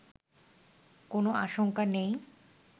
কোন আশংকা নেই